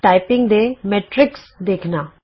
typing ਦੇ metrics ਦੇਖਣਾ